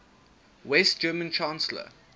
west german chancellor